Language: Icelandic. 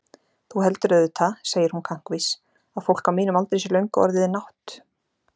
Þú heldur auðvitað, segir hún kankvís, að fólk á mínum aldri sé löngu orðið nátt-